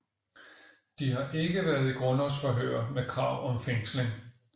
De har ikke været i grundlovsforhør med krav om fængsling